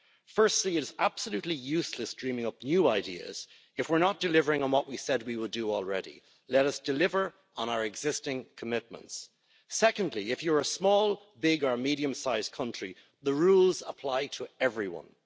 Firstly, it is absolutely useless dreaming up new ideas if we're not delivering on what we said we would do already. Let us deliver on our existing commitments. Secondly, if you're a small, big or medium sized country, the rules apply to everyone.